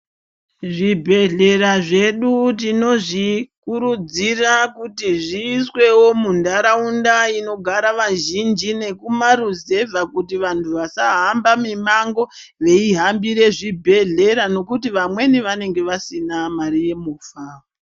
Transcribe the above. Zvibhehlera zvedu tinozvikurudzira kuti zviiswewo muntaraunda inogara vazhinji nekumaruzevha kuti vantu vasahamba mimango veihambire chibhehlera nekuti vamweni vanenge vasina mare yemufa.